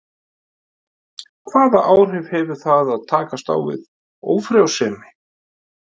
Hvaða áhrif hefur það að takast á við ófrjósemi?